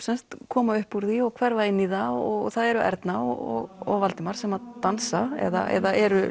koma upp úr því og hverfa inn í það og það eru Erna og Valdimar sem dansa eða eru